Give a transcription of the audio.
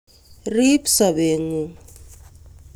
riib sobengung